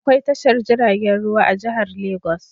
Akwai tashar jiragen ruwa a jihar lagos.